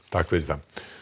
takk fyrir